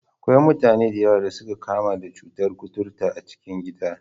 Akwai mutane da yawa da suka kamu da cutar kuturta a cikin gida.